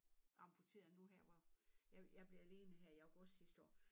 Amputeret nu her hvor jeg jeg blev alene her i august sidste år